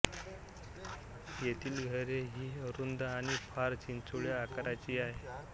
येथील घरे ही अरुंद आणि फार चिंचोळ्या आकाराची आहेत